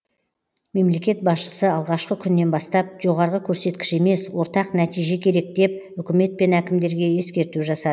мемлекет басшысы алғашқы күннен бастап жоғарғы көрсеткіш емес ортақ нәтиже керек деп үкімет пен әкімдерге ескерту жасады